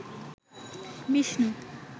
Vishnu